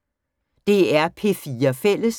DR P4 Fælles